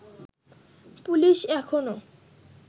police এখনও